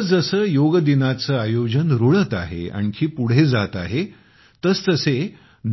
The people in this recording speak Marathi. जसजसे योग दिनाचे आयोजन रुळत आहे आणखी पुढे जात आहे तसतसे